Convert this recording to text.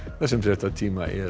þessum fréttatíma er